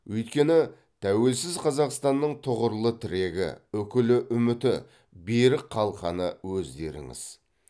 өйткені тәуелсіз қазақстанның тұғырлы тірегі үкілі үміті берік қалқаны өздеріңіз